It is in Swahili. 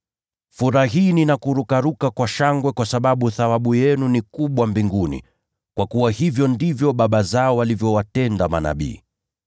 “Furahini na kurukaruka kwa shangwe, kwa sababu thawabu yenu ni kubwa mbinguni, kwa kuwa hivyo ndivyo baba zao walivyowatenda manabii.